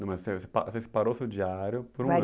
Não, mas você parou seu diário por um an